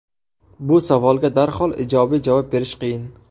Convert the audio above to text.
Bu savolga darhol ijobiy javob berish qiyin.